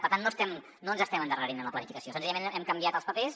per tant no ens estem endarrerint en la planificació senzillament hem canviat els papers